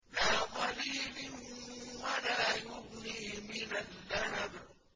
لَّا ظَلِيلٍ وَلَا يُغْنِي مِنَ اللَّهَبِ